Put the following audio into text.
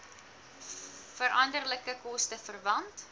veranderlike koste verwant